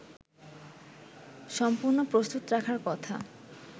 সম্পূর্ণ প্রস্তুত রাখার কথা